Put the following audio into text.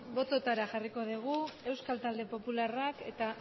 bototara jarriko dugu euskal talde popularrak eta